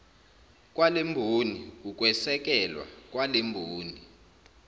kwalemboni ukwesekelwa kwalemboni